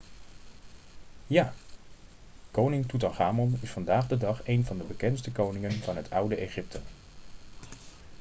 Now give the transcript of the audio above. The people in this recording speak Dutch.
ja koning toetanchamon is vandaag de dag een van de bekendste koningen van het oude egypte